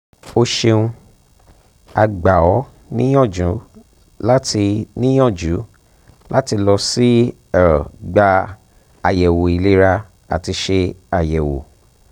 o ṣeuna gba ọ niyanju lati niyanju lati lọ si er gba ayẹwo ilera ati ṣe ayẹwo